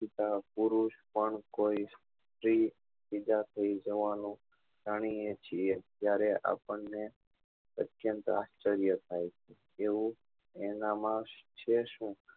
બીજા પુરુષ પણ જાણીએ છીએ ત્યારે આપણને અત્યંત આશ્ચર્ય થાય છે એવું એના માં છે શું